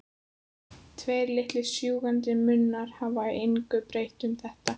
Tveir litlir sjúgandi munnar hafa engu breytt um þetta.